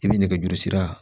I bɛ nɛgɛjurusira